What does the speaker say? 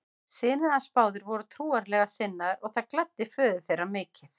Synir hans báðir voru trúarlega sinnaðir og það gladdi föður þeirra mikið.